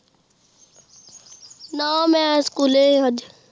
ਨਾ ਮੈਂ ਸਕੂਲੇ ਅੱਜ